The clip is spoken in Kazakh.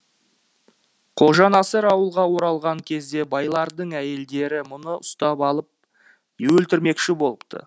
қожанасыр ауылға оралған кезде байлардың әйелдері мұны ұстап алып өлтірмекші болыпты